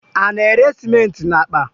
A na- ere cementị na akpa